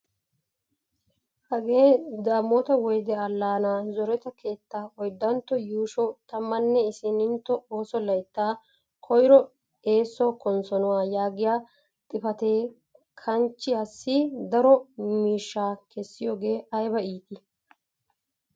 Hagee damota woyde allaana zoretta keettaa oydantto yuushsho tammanne issinitto oosso layttaa koyro eesso konssonuwaa yaagiyaa xifatee kanchiyaassi daro miishshaa kessiyoogee ayba iitii!